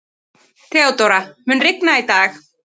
Theodóra, mun rigna í dag?